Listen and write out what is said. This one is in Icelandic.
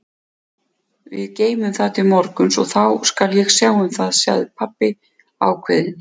Við geymum það til morguns og þá skal ég sjá um það, segir pabbi ákveðinn.